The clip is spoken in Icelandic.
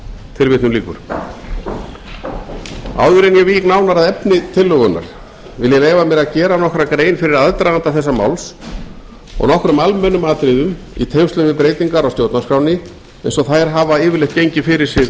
tilvitnun lýkur áður en ég vík nánar að efni tillögunnar vil ég leyfa mér að gera nokkra grein fyrir aðdraganda þessa máls og nokkrum almennum atriðum í tengslum við breytingar á stjórnarskránni eins og þær hafa yfirleitt gengið fyrir sig